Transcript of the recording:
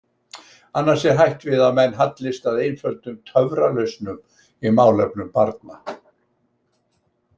Annars er hætt við að menn hallist að einföldum töfralausnum í málefnum barna.